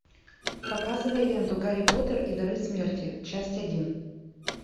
показывай ленту гарри поттер и дары смерти часть один